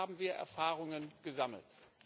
Aber da haben wir Erfahrungen gesammelt.